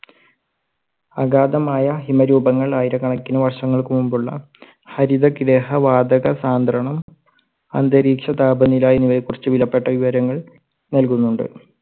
അഗാധമായ ഹിമരൂപങ്ങൾ ആയിരകണക്കിന് വർഷങ്ങൾക്ക് മുൻപുള്ള ഹരിതഗൃഹവാതകസാന്ദ്രണം അന്തരീക്ഷ താപനില എന്നിവയെ കുറിച്ച് വിലപ്പെട്ട വിവരങ്ങൾ നൽകുന്നുണ്ട്.